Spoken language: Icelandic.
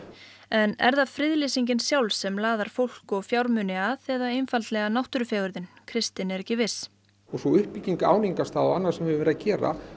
en er það friðlýsingin sjálf sem laðar fólk og fjármuni að eða einfaldlega náttúrufegurðin kristinn er ekki viss en sú uppbygging áningarstaða og annað sem við höfum verið að gera